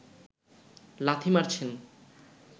লাথি মারছেন